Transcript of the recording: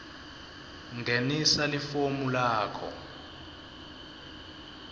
ngenisa lifomu lakho